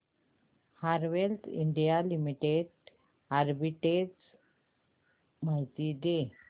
Havells India limited arbitrage माहिती दे